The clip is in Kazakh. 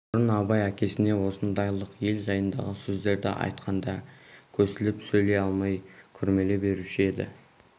бұрын абай әкесіне осындайлық ел жайындағы сөздерді айтқанда көсіліп сөйлей алмай күрмеле беруші еді